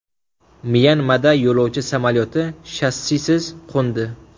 Myanmada yo‘lovchi samolyoti shassisiz qo‘ndi.